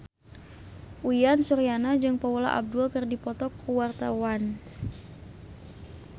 Uyan Suryana jeung Paula Abdul keur dipoto ku wartawan